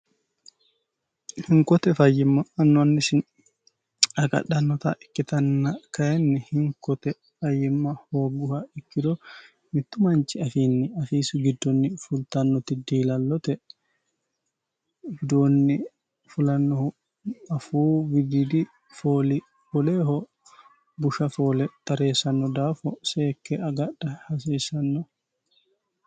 hinkote fayyimma annu annisi agadhannota ikkitanna kayinni hinkote fayyimma hoogguha ikkiro mittu manchi afiinni afiisi giddonni fultannoti diilallote widoonni fulannohu afuu wididi fooli woleeho busha foole tareessanno daafo seekke agadha hasiissanno.